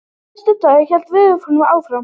Næsta dag hélt veðurofsinn áfram.